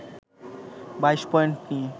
২২ point নিয়ে